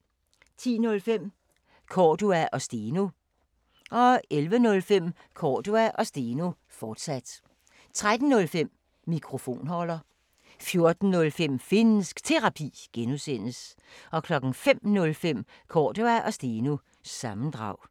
10:05: Cordua & Steno 11:05: Cordua & Steno, fortsat 13:05: Mikrofonholder 14:05: Finnsk Terapi (G) 05:05: Cordua & Steno – sammendrag